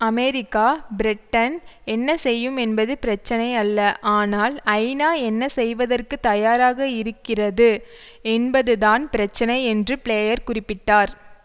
America Britain என்ன செய்யும் என்பது பிரச்சனை அல்ல ஆனால் ஐநா என்ன செய்வதற்கு தயாராக இருக்கிறது என்பது தான் பிரச்சனை என்று பிளேயர் குறிப்பிட்டார்